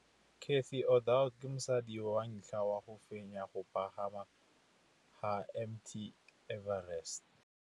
Cathy Odowd ke mosadi wa ntlha wa go fenya go pagama ga Mt Everest.